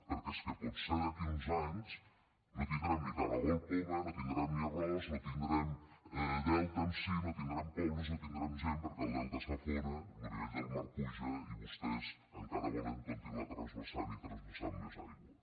perquè és que potser d’aquí a uns anys no tindrem ni caragol poma no tindrem ni arròs no tindrem delta en si no tindrem pobles no tindrem gent perquè el delta s’afona lo nivell del mar puja i vostès encara volen continuar transvasant i transvasant més aigua